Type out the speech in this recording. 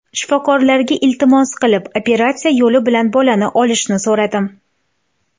Shifokorlarga iltimos qilib, operatsiya yo‘li bilan bolani olishni so‘radim.